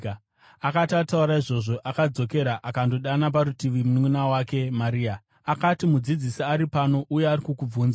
Akati ataura izvozvo, akadzokera akandodana parutivi mununʼuna wake Maria. Akati, “Mudzidzisi ari pano, uye ari kukubvunza.”